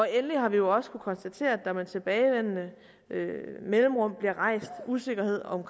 endelig har vi også kunnet konstatere at der med tilbagevendende mellemrum bliver rejst usikkerhed om